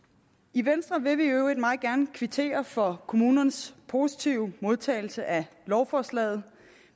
i venstre vil vi i øvrigt meget gerne kvittere for kommunernes positive modtagelse af lovforslaget